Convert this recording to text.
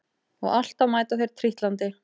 Og alltaf mæta þeir trítlandi